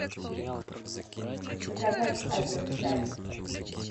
заказать азерчай